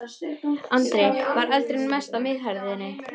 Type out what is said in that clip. Andri: Var eldurinn mestur á miðhæðinni?